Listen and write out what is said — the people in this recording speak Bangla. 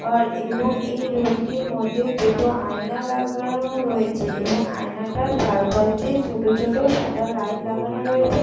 আর এবং এই রুমটির মধ্যে দুটি আয়না লাগানো রয়েছে এবং আয়না টার চারপাশ দিয়ে ছোট ছোট সাদা লাইট লাগানো রয়েছে।